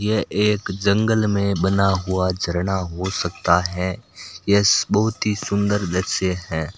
यह एक जंगल में बना हुआ झरना हो सकता है यस बहुत ही सुंदर दृश्य है।